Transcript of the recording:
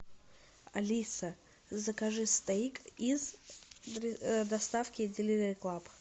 алиса закажи стоик из доставки деливери клаб